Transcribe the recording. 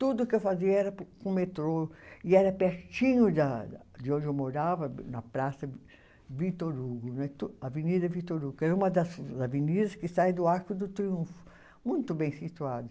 Tudo que eu fazia era po, com o metrô e era pertinho da da, de onde eu morava, na Praça Vitor Hugo né, to Avenida Vitor Hugo, que é uma das avenidas que sai do Arco do Triunfo, muito bem situada.